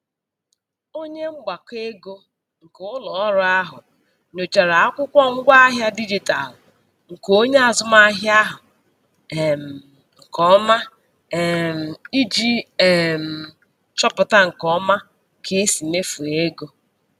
Onye mgbakọego nke ụlọọrụ ahụ nyochara akwụkwọ ngwaahịa dijitalụ nke onye azụmahịa ahụ um nke ọma um iji um chọpụta nke ọma ka e si mefuo ego.